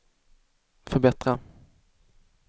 förbättra